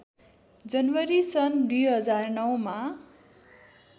जनवरी सन् २००९ मा